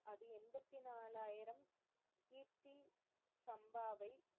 அம்பத்தி நாலாயிரம் கீர்த்தி சம்பாவை,